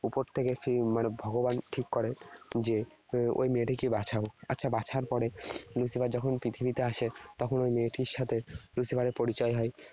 উপর থেকে এর মানে ভগবান ঠিক করে যে উহ ওই মেয়েটিকে বাছা হোক। আচ্ছা বাছার পরে Lucifer যখন পৃথিবীতে আসে তখন ওই মেয়েটির সাথে Lucifer এর পরিচয় হয়।